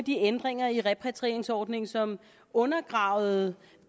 de ændringer i repatrieringsordningen som undergravede